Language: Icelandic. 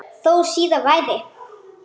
Þó síðar væri.